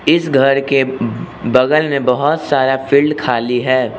इस घर के बगल में बहोत सारा फील्ड खाली है।